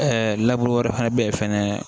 wɛrɛ fana bɛ yen fɛnɛ